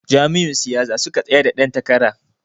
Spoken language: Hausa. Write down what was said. Jam'iyyun siyasa suke tsayar da dan takara.